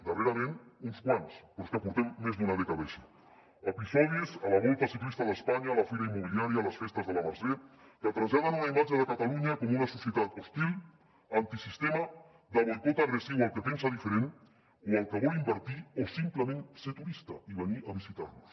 darrerament uns quants però és que portem més d’una dècada així episodis a la volta ciclista d’espanya a la fira immobiliària a les festes de la mercè que traslladen una imatge de catalunya com una societat hostil antisistema de boicot agressiu al que pensa diferent o al que vol invertir o simplement ser turista i venir a visitar nos